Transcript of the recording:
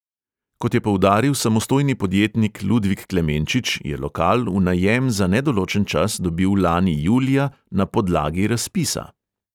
Kot je poudaril samostojni podjetnik ludvik klemenčič, je lokal v najem za nedoločen čas dobil lani julija na podlagi razpisa.